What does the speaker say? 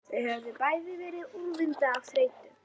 Þau höfðu bæði verið úrvinda af þreytu.